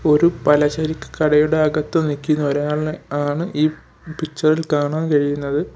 ഒരു പലചരക്കു കടയുടെ അകത്തു നിക്കുന്ന ഒരാളെ ആണ് ഈ പിക്ചർ ഇൽ കാണാൻ കഴിയുന്നത്.